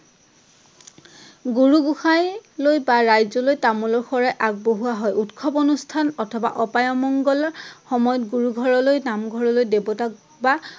গুৰু গোঁসাইলৈ বা ৰাইজলৈ তামোলৰ শৰাই আগবঢ়োৱা হয়। উৎসৱ অনুষ্ঠান অথবা অপাই অমংগল সময়ত গুৰু ঘৰলৈ, নাম ঘৰলৈ দেৱতাক বা